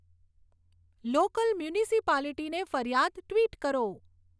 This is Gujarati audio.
લોકલ મ્યુનિસિપાલિટીને ફરિયાદ ટ્વિટ કરો